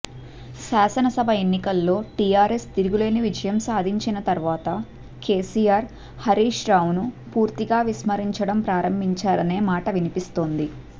శాసనసభ ఎన్నికల్లో టీఆర్ఎస్ తిరుగులేని విజయం సాధించిన తర్వాత కేసీఆర్ హరీష్ రావును పూర్తిగా విస్మరించడం ప్రారంభించారనే మాట వినిపిస్తోంది